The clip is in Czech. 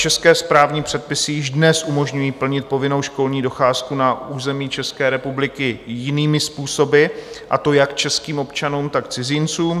České správní předpisy již dnes umožňují plnit povinnou školní docházku na území České republiky jinými způsoby, a to jak českým občanům, tak cizincům.